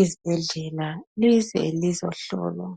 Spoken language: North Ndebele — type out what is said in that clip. ezibhedlela. Lize lizohlolwa .